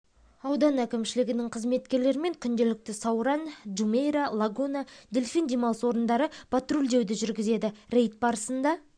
ауданы әкімшілігінің қызметкерлерімен күнделікті сауран джумейра лагуна дельфин демалыс орындарында патрульдеуді жүргізеді рейд барысында